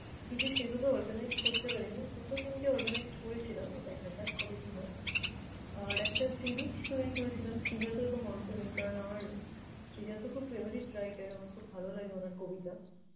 কিছু সেভাবে organized করতে পারিনি। দুটো তিনটে organized করেছিলাম, দেখা যাক কবে কি হয়। আর একটা series তৈরি করেছিলাম শ্রীজাত এবং অন্ত্যমিল। কারণ আমার শ্রীজাতও খুব favourite writer আমার খুব ভালো লাগে উনার কবিতা।